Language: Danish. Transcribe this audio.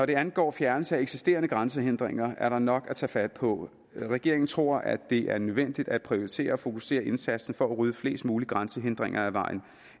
det angår fjernelse af eksisterende grænsehindringer er der nok at tage fat på regeringen tror at det er nødvendigt at prioritere og fokusere indsatsen for at rydde flest mulige grænsehindringer af vejen